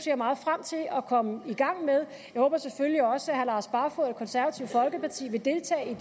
jeg meget frem til at komme i gang med jeg håber selvfølgelig også herre lars barfoed og det konservative folkeparti vil deltage i